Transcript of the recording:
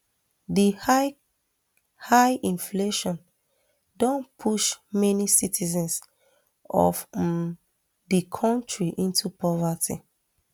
di high high inflation don push many citizens of um di kontri into poverty